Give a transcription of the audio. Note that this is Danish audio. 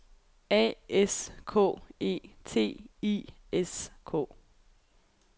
A S K E T I S K